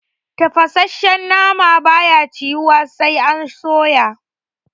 Tafasashshen nama ba ya ciyuwa da daɗi sai an soya